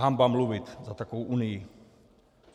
Hanba mluvit za takovou unii.